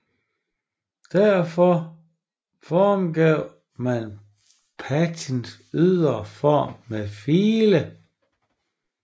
Derefter formgav man patricens ydre form med file